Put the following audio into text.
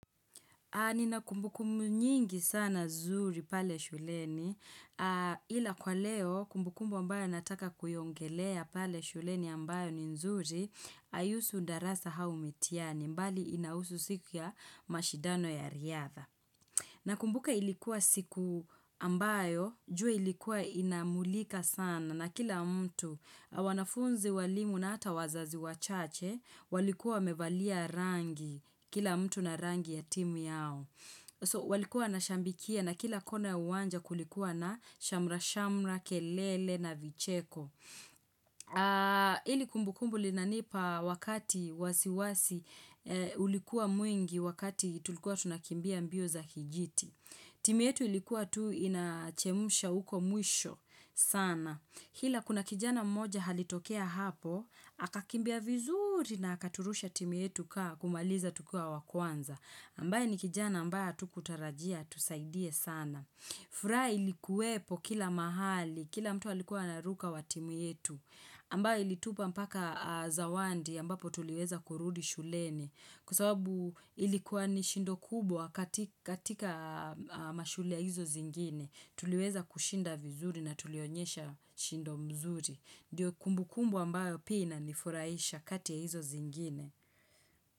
Nina kumbukumbu nyingi sana zuri pale shuleni ila kwa leo kumbukumbu ambayo nataka kuyaongelea pale shuleni ambayo ni nzuri haihusu darasa au mitiani mbali inahusu siku ya mashidano ya riadha. Na kumbuka ilikuwa siku ambayo, jua ilikuwa inamulika sana na kila mtu wanafunzi walimu na hata wazazi wachache, walikuwa wamevalia rangi, kila mtu na rangi ya timu yao. So walikuwa na shambikia na kila kona uwanja kulikuwa na shamra-shamra, kelele na vicheko. Hili kumbu kumbu linanipa wakati wasiwasi ulikuwa mwingi wakati tulikuwa tunakimbia mbio za kijiti. Timi yetu ilikuwa tu inachemsha huko mwisho sana. Ila kuna kijana mmoja alitokea hapo, akakimbia vizuri na akaturusha timu yetu kaa kumaliza tukua wakwanza. Ambaye ni kijana ambaye hatukutarajia, atusaidie sana. Furaha ilikuwepo kila mahali, kila mtu alikuwa anaruka wa timu yetu. Ambaye ilitupa mpaka zawadi, ambapo tuliweza kurudi shuleni. Kwa sababu ilikuwa ni shindo kubwa katika mashule hizo zingine. Tuliweza kushinda vizuri na tulionyesha shindo mzuri. Ndiyo kumbukumbu ambayo pia inani furaisha kati ya hizo zingine.